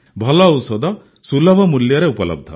ଭଲ ଔଷଧ ସୁଲଭ ମୂଲ୍ୟରେ ଉପଲବ୍ଧ